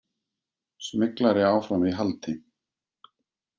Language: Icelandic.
Smyglari áfram í haldi